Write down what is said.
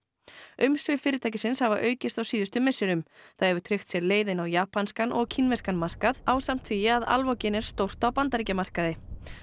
umsvif fyrirtækisins hafa aukist á síðustu misserum það hefur tryggt sér leið inn á japanskan og kínverskan markað ásamt því að Alvogen er stórt á Bandaríkjamarkaði